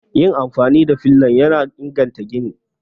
Yin amfani da filan yana inganta gini